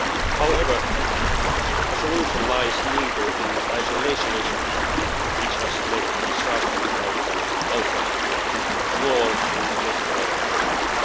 However, the solution lies neither in isolationism, which has led to disastrous outcomes in the past, nor in laissez faire politics.